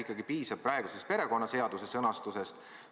Äkki piisab praegusest perekonnaseaduse sõnastusest?